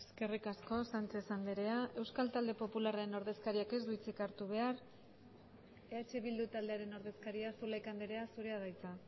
eskerrik asko sánchez andrea euskal talde popularren ordezkariak ez du hitz hartu behar eh bildu taldearen ordezkaria zulaika andrea zurea da hitza